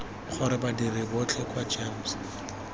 gore badiri botlhe kwa gems